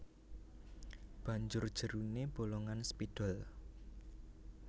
Banjur jeruné bolongan spidol